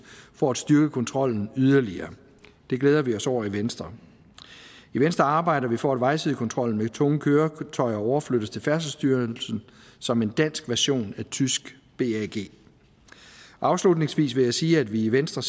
for at styrke kontrollen yderligere det glæder vi os over i venstre i venstre arbejder vi for at vejsidekontrollen med tunge køretøjer overflyttes til færdselsstyrelsen som en dansk version af det tyske bag afslutningsvis vil jeg sige at vi i venstre